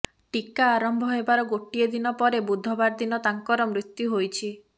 ଟିକା ଆରମ୍ଭ ହେବାର ଗୋଟିଏ ଦିନ ପରେ ବୁଧବାର ଦିନ ତାଙ୍କର ମୃତ୍ୟୁ ହୋଇଛି